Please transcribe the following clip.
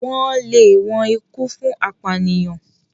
wón lè wón ikú fún apànìyàn.